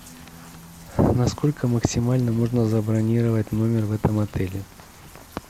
на сколько максимально можно забронировать номер в этом отеле